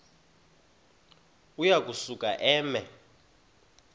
uya kusuka eme